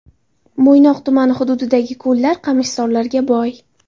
Mo‘ynoq tumani hududidagi ko‘llar qamishzorlarga boy.